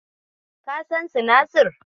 Ka san sinasir?